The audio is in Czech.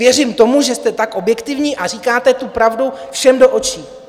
Věřím tomu, že jste tak objektivní a říkáte tu pravdu všem do očí.